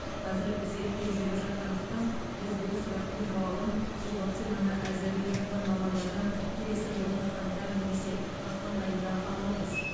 қазір зерттеу жүріп жатқандықтан біз бұл сұрақтың жауабын сол вакцинаны әзірлеп жатқан мамандардан келесі жылдың қаңтар немесе ақпан айында аламыз